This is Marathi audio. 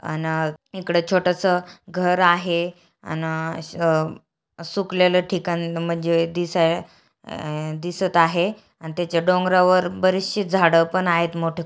अना-अ- इकड छोटस घर आहे अन-अ- सुखलेल ठिकाण म्हणजे दिस अ- दिसत आहे आणि तेचे डोंगरावर बरीशी झाड पण आहेत मोठे--